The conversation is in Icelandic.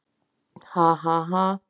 Ha, ha, ha.